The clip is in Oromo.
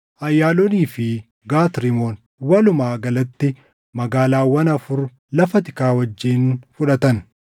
Ayaaloonii fi Gat Rimoon, walumaa galatti magaalaawwan afur lafa tikaa wajjin fudhatan.